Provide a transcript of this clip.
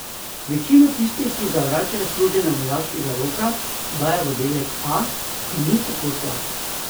Večino tistih, ki zavračajo služenje vojaškega roka, dajo v oddelek A, ki ni tako slab.